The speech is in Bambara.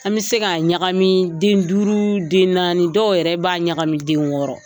An bi se ka ɲagami den duuru den naani. Dɔw yɛrɛ b'a ɲagami den wɔɔrɔ.